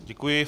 Děkuji.